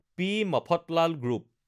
P Mafatlal group